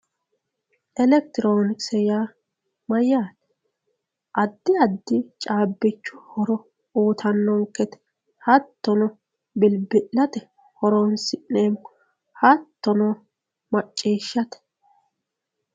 elektironikise yaa mayaate addi addi caabichu horo uuyiitanonkete hattono bilbi'late horonsi'neemo hattono macciishate.